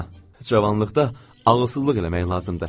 Cavanlıqda ağlasızlıq eləmək lazımdır.